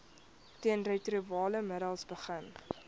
teenretrovirale middels begin